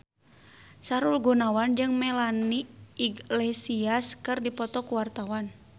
Sahrul Gunawan jeung Melanie Iglesias keur dipoto ku wartawan